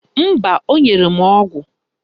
Mba, o nyere m ọgụ